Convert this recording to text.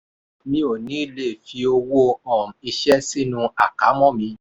mi ò ní ilé fi owó um iṣẹ́ sínú àkámọ́ mi.